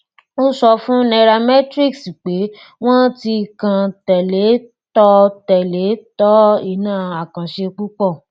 ó sọ fún nairametrics pé wọn ti kàn tẹlẹ tọ tẹlẹ tọ iná àkànṣe púpọ